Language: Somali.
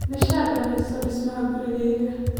Nisha dhammayso dhismaha gurigayga